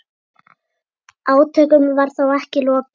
Átökum var þó ekki lokið.